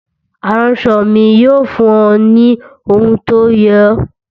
Aránṣọ mi yóò fún ọ ní ohun tó yẹ ọ.